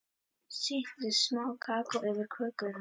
Sigtið smá kakó yfir kökuna.